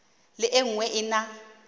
le e nngwe e na